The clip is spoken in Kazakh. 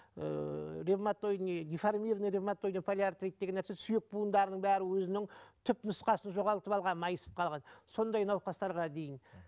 ыыы ревмотойдный деформированный ревмотойд полиартрид деген нәрсе сүйек буындарының бәрі өзінің түп нұсқасын жоғалтып алған майысып қалған сондай науқастарға дейін